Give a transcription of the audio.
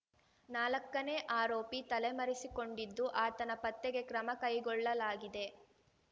ನಾಲಕ್ಕನೇ ಆರೋಪಿ ತಲೆಮರೆಸಿಕೊಂಡಿದ್ದು ಆತನ ಪತ್ತೆಗೆ ಕ್ರಮ ಕೈಗೊಳ್ಳಲಾಗಿದೆ